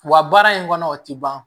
Wa baara in kɔnɔ o tɛ ban